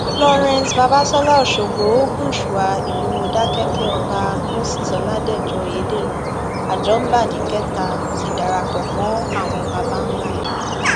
florence babasola ọṣọgbó ò gúnṣúà ìlú mòdákẹkẹ ọba moses ọládẹjọ oyèdèrán ajọḿbàdì kẹta ti darapọ mọ àwọn baba ńlá rẹ